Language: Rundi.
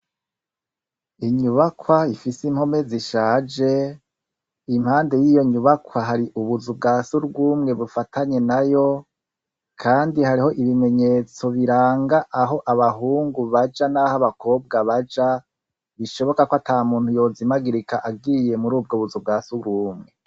Inyubakwa ifise impome zishaje impande y'iyo nyubakwa hari ubuzubwasu bw'umwe bufatanye nayo kandi hariho ibimenyetso biranga aho abahungu baja n'aho abakobwa baja bishoboka ko ata muntu yozimagirika agiye muri ubwo buzubwasurumwe.